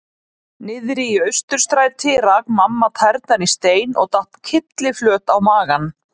Niðri í Austurstræti rak mamma tærnar í stein og datt kylliflöt á magann.